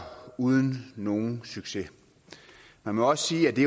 uden nogen succes man må også sige at det